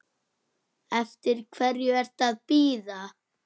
Eftir hverju ertu að bíða!